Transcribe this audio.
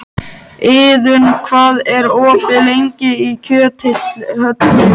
Iðunn, hvað er opið lengi í Kjöthöllinni?